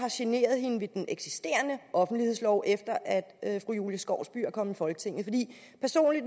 har generet hende ved den eksisterende offentlighedslov efter at fru julie skovsby er kommet i folketinget